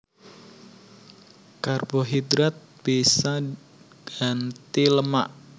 Karbohidrat bisa ngganti lemak